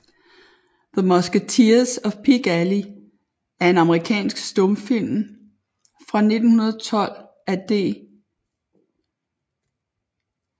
The Musketeers of Pig Alley er en amerikansk stumfilm fra 1912 af D